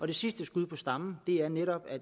det sidste skud på stammen er netop